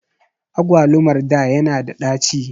Agwalumar da ya na da ɗaci